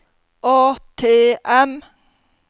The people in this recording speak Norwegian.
ATM